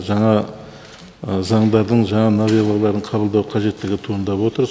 жаңа заңдардың жаңа новеллаларын қабылдау қажеттігі туындап отыр